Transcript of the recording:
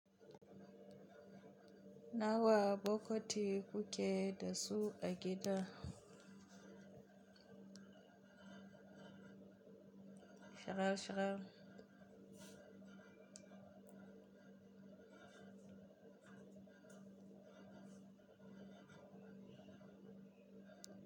Nawa bokiti kuke da su a gida? Hira-hira.